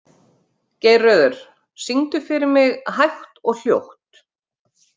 Geirröður, syngdu fyrir mig „Hægt og hljótt“.